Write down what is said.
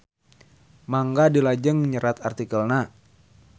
Mangga dilajeng nyerat artikelna.